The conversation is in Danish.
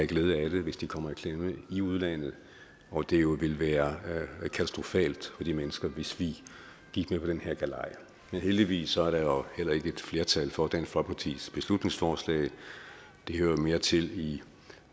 glæde af det hvis de kommer i klemme i udlandet og at det jo vil være katastrofalt for de mennesker hvis vi gik med på den her galej men heldigvis er der heller ikke et flertal for dansk folkepartis beslutningsforslag det hører mere til i